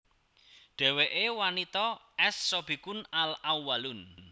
Dheweke wanita as Sabiqun al Awwalun